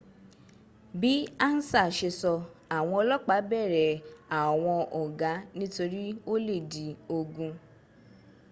bí ansa ṣe sọ́, àwọn ọlọ́pà bẹ̀rẹ̀ àwọn ọgá nítorí ó lè di ogun